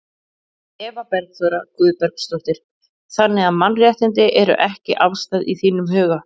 Eva Bergþóra Guðbergsdóttir: Þannig að mannréttindi eru ekki afstæð í þínum huga?